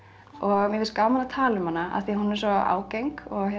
mér finnst gaman að tala um hana af því hún er svo ágeng